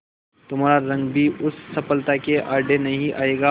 तुम्हारा रंग भी उस सफलता के आड़े नहीं आएगा